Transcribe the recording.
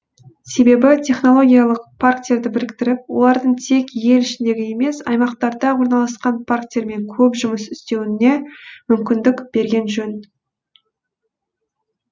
себебі технологиялық парктерді біріктіріп олардың тек ел ішіндегі емес аймақтарда орналасқан парктермен көп жұмыс істеуіне мүмкіндік берген жөн